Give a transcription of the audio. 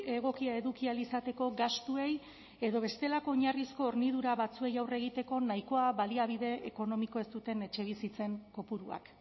egokia eduki ahal izateko gastuei edo bestelako oinarrizko hornidura batzuei aurre egiteko nahikoa baliabide ekonomiko ez duten etxebizitzen kopuruak